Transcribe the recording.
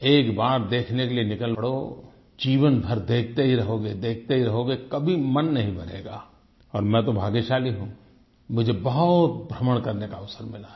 एक बार देखने के लिए निकल पड़ो जीवन भर देखते ही रहोगे देखते ही रहोगे कभी मन नहीं भरेगा और मैं तो भाग्यशाली हूँ मुझे बहुत भ्रमण करने का अवसर मिला है